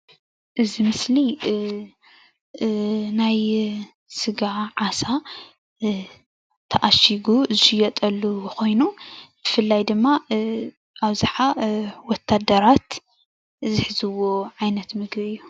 እዚ ምስሊ ናይ ስጋ ዓሳ ተአሺጉ ዝሽየጠሉ ኮይኑ ብፍላይ ድማ አብዛሓ ወታደራት ዝሕዝዎ ዓይነት ምግቢ እዩ፡፡